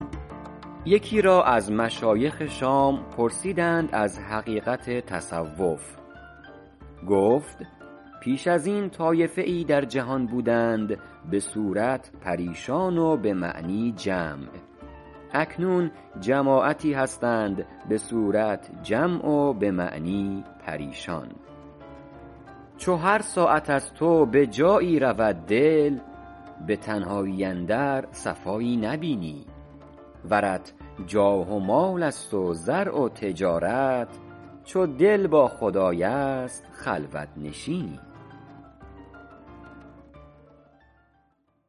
یکی را از مشایخ شام پرسیدند از حقیقت تصوف گفت پیش از این طایفه ای در جهان بودند به صورت پریشان و به معنی جمع اکنون جماعتی هستند به صورت جمع و به معنی پریشان چو هر ساعت از تو به جایی رود دل به تنهایی اندر صفایی نبینی ورت جاه و مال است و زرع و تجارت چو دل با خدای است خلوت نشینی